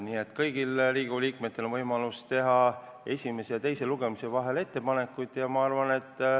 Nii et kõigil Riigikogu liikmetel on võimalus teha esimese ja teise lugemise vahel ettepanekuid.